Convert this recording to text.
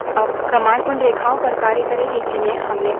अब command उन रेखाओं पर कार्य करेगी जिन्हें हमने प्रविष्ट किया है